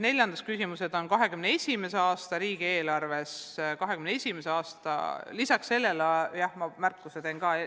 Neljas küsimus on 2021. aasta riigieelarve kohta.